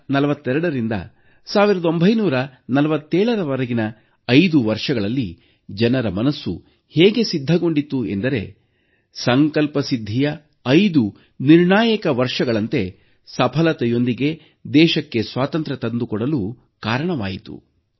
1942ರಿಂದ 1947ರ ವರೆಗಿನ 5 ವರ್ಷಗಳಲ್ಲಿ ಜನರ ಮನಸ್ಸು ಹೇಗೆ ಸಿದ್ಧಗೊಂಡಿತ್ತು ಎಂದರೆ ಸಂಕಲ್ಪ ಸಿದ್ಧಿಯ 5 ನಿರ್ಣಾಯಕ ವರ್ಷಗಳಂತೆ ಸಫಲತೆಯೊಂದಿಗೆ ದೇಶಕ್ಕೆ ಸ್ವಾತಂತ್ರ್ಯ ತಂದುಕೊಡಲು ಕಾರಣವಾಯಿತು